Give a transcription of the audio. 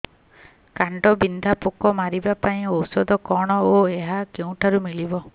କାଣ୍ଡବିନ୍ଧା ପୋକ ମାରିବା ପାଇଁ ଔଷଧ କଣ ଓ ଏହା କେଉଁଠାରୁ ମିଳିବ